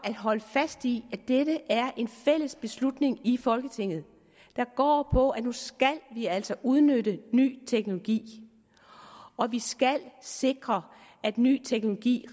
holde fast i at dette er en fælles beslutning i folketinget der går på at nu skal vi altså udnytte ny teknologi og vi skal sikre at ny teknologi